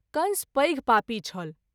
कंस पैघ पापी छल।